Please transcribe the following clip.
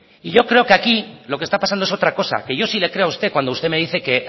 y yo creo que aquí lo que está pasando es otra cosa que yo sí le creo a usted cuando usted me dice que